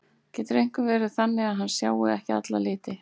Getur einhver verið þannig að hann sjái ekki alla liti?